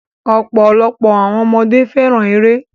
Ọ̀pọ̀lọpọ̀ àwọn ọmọdé fẹ́ràn eré